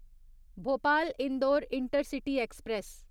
Bhopal Indore intercity express